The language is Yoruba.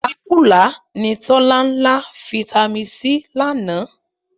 Ìlákùlá ni Tọ́lá ń lá Fitami C lánàá